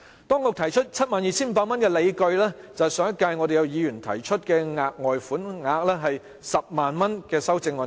當局提出 72,500 元，理據就是上屆立法會議員提出修正案，建議額外款項為 100,000 元。